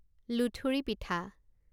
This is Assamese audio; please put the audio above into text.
লুথুৰি পিঠা